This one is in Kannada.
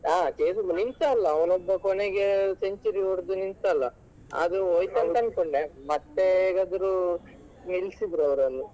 ಆ chase ನಿಂತ ಅಲ್ಲ ಅವನೊಬ್ಬ ಕೊನೆಗೆ ಒಬ್ಬ century ಹೊಡೆದು ನಿಂತ ಅಲ್ಲ ಆದ್ರೆ ಹೋಯ್ತು ಅಂತ ಅನ್ಕೊಂಡೆ ಮತ್ತೆ ಹೇಗಾದ್ರು ನಿಲ್ಸಿದ್ರು ಅವರನ್ನು.